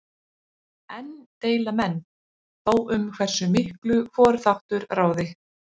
Enn deila menn þó um hversu miklu hvor þáttur ráði.